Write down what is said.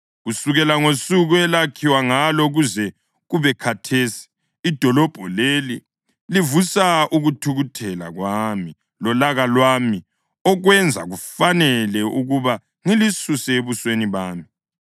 Kusukela ngosuku elakhiwa ngalo kuze kube khathesi, idolobho leli livusa ukuthukuthela kwami lolaka lwami okwenza kufanele ukuba ngilisuse ebusweni bami.